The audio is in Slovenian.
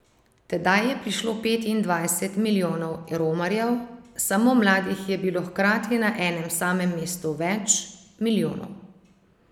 Tedaj je prišlo petindvajset milijonov romarjev, samo mladih je bilo hkrati na enem samem mestu več milijonov.